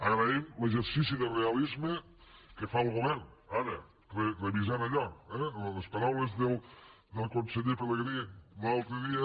agraïm l’exercici de realisme que fa el govern ara revisant allò eh les paraules del conseller pelegrí l’altre dia